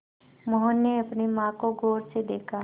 मोहन ने अपनी माँ को गौर से देखा